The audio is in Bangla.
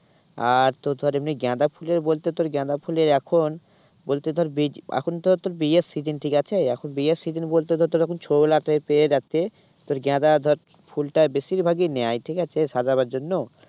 আর তোর ধর এমনি গাঁদা ফুলের বলতে তোর গাঁদা ফুলের এখন বলতে তোর এখন তো ধর তোর বিয়ের session ঠিক আছে এখন বিয়ের session বলতে তোর এখন পেয়ে যাচ্ছে তোর গাঁদা ধর ফুলটা বেশির ভাগই নেয় ঠিক আছে সাজাবার জন্য।